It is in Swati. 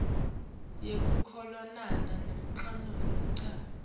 yekucolelana nekulamula ccma